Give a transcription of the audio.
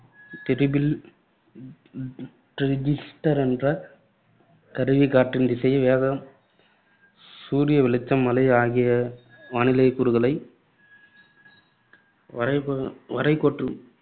triple ரி~ ரி~ ரி~ ரிஜிஸ்டர் என்ற கருவி காற்றின் திசை, வேகம் சூரிய வெளிச்சம், மழை ஆகிய வானிலைக் கூறுகளைப் வரை கோ~ கோட்டு